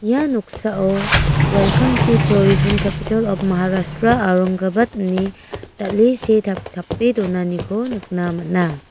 ia noksao welkam tu torijim kepital op maharastra orangabat ine dal·e see tap-tape donaniko nikna man·a.